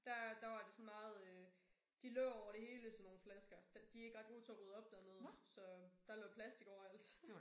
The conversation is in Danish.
Der der var det sådan meget øh de lå over det hele sådan nogle flasker. De ikke ret gode til at rydde op dernede så der lå plastik overalt